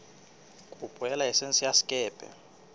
kopo ya laesense ya sekepe